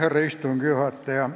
Härra istungi juhataja!